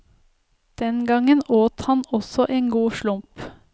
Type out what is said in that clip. Den gangen åt han også en god slump.